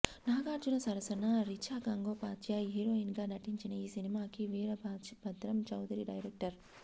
నాగార్జున సరసన రిచా గంగోపాధ్యాయ్ హీరోయిన్ గా నటించిన ఈ సినిమాకి వీరభద్రం చౌదరి డైరెక్టర్